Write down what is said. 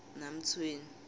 namtshweni